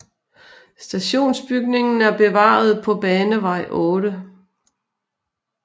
Stationsbygningen er bevaret på Banevej 8